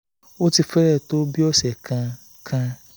ó ti fẹ́ẹ́ tó ọ̀sẹ̀ kan kan